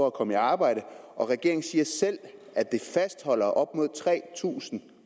at komme i arbejde og regeringen siger selv at det fastholder op mod tre tusind